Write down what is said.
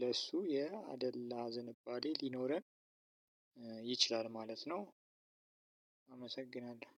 ለእሱ የአደላ ዝንባሌ ሊኖረን ይችላል ማለት ነው። አመሰግናለሁ!